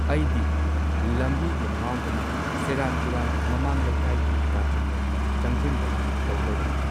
ꯑꯩꯗꯤ ꯂꯝꯕꯤꯒ ꯉꯥꯎꯗꯅ ꯁꯦꯔꯥꯟ ꯇꯨꯔꯥꯟ ꯃꯃꯥꯡ ꯂꯩꯀꯥꯏꯒꯤ ꯀꯥꯆꯤꯟꯂꯣꯝꯗ ꯆꯪꯖꯟꯗꯅ ꯇꯧ ꯂꯩꯔꯝꯃꯦ